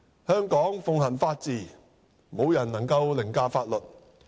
香港奉行法治，無人能凌駕法律。